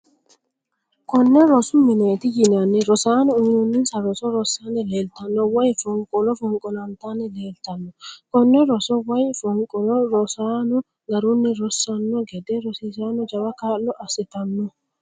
Kone rosu mineeti yinanni, rosaano uyinonninsa roso rasanni leelitanno, woyi fonqolo fonqolantanni leellitanno kone roso woyi fonqolo rosanno garunni rosano gede rosiisaano jawa kaa'lo assitano